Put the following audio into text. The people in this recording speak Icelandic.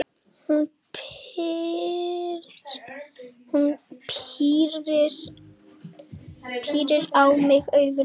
Hún pírir á mig augun.